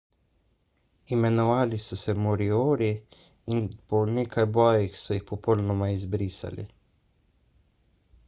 imenovali so se moriori in po nekaj bojih so jih popolnoma izbrisali